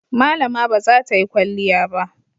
Malama ba za ta yi kwalliya ba.